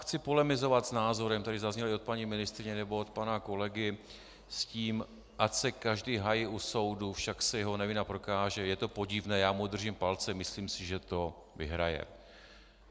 Chci polemizovat s názorem, které zazněly od paní ministryně nebo od pana kolegy s tím, ať se každý hájí u soudu - však se jeho nevina prokáže, je to podivné, já mu držím palce, myslím si, že to vyhraje.